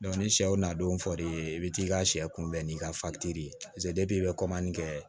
ni sɛw na don f'i ye i bi t'i ka sɛ kunbɛn n'i ka ye i bɛ kɛ